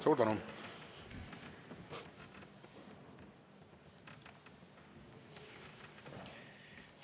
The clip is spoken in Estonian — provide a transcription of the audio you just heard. Suur tänu!